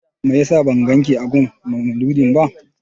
Meyasa ban ganki a gun maulidi ba?